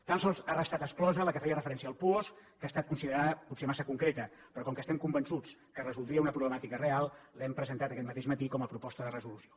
tan sols ha restat exclosa la que feia referència al puosc que ha estat considerada potser massa concreta però com que estem convençuts que resoldria una problemàtica real l’hem presentat aquest mateix matí com a proposta de resolució